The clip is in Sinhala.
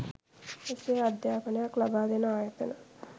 එසේ අධ්‍යාපනයක් ලබා දෙන ආයතන